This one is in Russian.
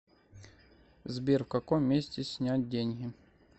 сбер в каком месте снять деньги